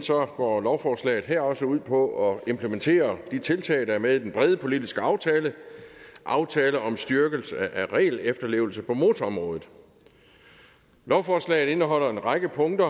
går lovforslaget her også ud på at implementere de tiltag der er med i den brede politiske aftale aftale om styrkelse af regelefterlevelse på motorområdet lovforslaget indeholder en række punkter